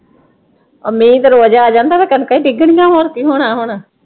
ਆ ਮੀਂਹ ਤੇ ਰੋਜ ਆ ਜਾਂਦਾ ਵਾਂ, ਕਣਕਾਂ ਈ ਡਿੱਗਣੀਆਂ ਹੋਰ ਕੀ ਹੋਣਾ ਹੁਣ?